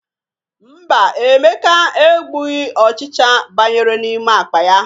Mba, Emeka egbughi ọchịcha banyere n'ime akpa ya.